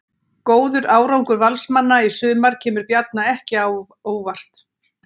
Góður árangur Valsmanna í sumar kemur Bjarna ekki á óvart.